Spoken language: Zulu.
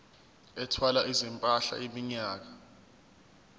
ethwala izimpahla iminyaka